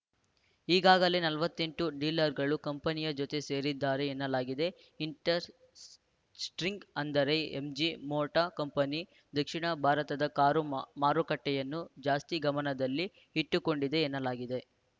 ಈಗಾಗಲೇ ನಲವತ್ತೆಂಟು ಡೀಲರ್‌ಗಳು ಕಂಪನಿಯ ಜೊತೆ ಸೇರಿದ್ದಾರೆ ಎನ್ನಲಾಗಿದೆ ಇಂಟರೆಸ್ಟಿಂಗ್‌ ಅಂದ್ರೆ ಎಂಜಿ ಮೋಟಾರ್‌ ಕಂಪನಿ ದಕ್ಷಿಣ ಭಾರತದ ಕಾರು ಮಾರುಕಟ್ಟೆಯನ್ನು ಜಾಸ್ತಿ ಗಮನದಲ್ಲಿ ಇಟ್ಟುಕೊಂಡಿದೆ ಎನ್ನಲಾಗಿದೆ